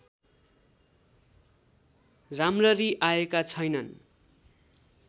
राम्ररी आएका छैनन्